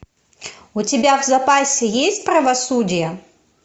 у тебя в запасе есть правосудие